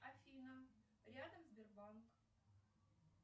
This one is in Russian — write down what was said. афина рядом сбербанк